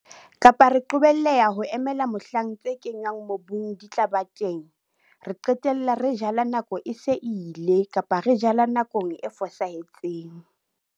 Kapa re qobelleha ho emela mohlang tse kenngwang mobung di tla ba teng - re qetella re jala nako e se e ile, kapa re jala nakong e fosahetseng.